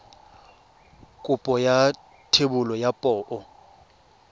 kopo ya thebolo ya poo